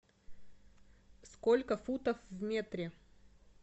сколько футов в метре